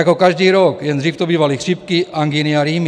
Jako každý rok, jen dřív to bývaly chřipky, angíny a rýmy.